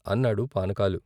" అన్నాడు పానకాలు.